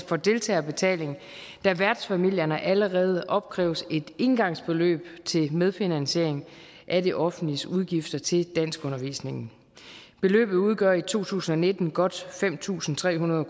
fra deltagerbetaling da værtsfamilierne allerede opkræves et engangsbeløb til medfinansiering af det offentliges udgifter til danskundervisningen beløbet udgør i to tusind og nitten godt fem tusind tre hundrede